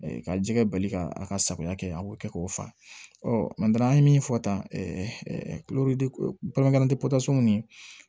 Ka jɛgɛ bali ka a ka safunɛ kɛ a b'o kɛ k'o fa an ye min fɔ tan ni